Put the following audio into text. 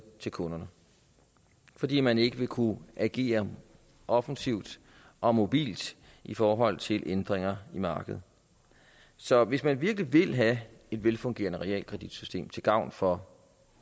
til kunderne fordi man ikke vil kunne agere offensivt og mobilt i forhold til ændringer i markedet så hvis man virkelig vil have et velfungerende realkreditsystem til gavn for